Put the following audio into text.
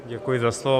Děkuji za slovo.